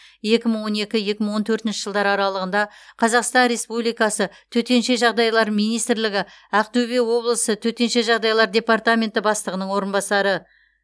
екі мың он екі екі мың он төртінші жылдар аралығында қазақстан республикасы төтенше жағдайлар министрлігі ақтөбе облысы төтенше жағдайлар департаменті бастығының орынбасары